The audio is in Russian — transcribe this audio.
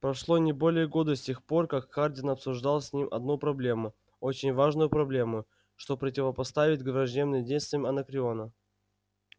прошло не более года с тех пор как хардин обсуждал с ним одну проблему очень важную проблему что противопоставить враждебным действиям анакреона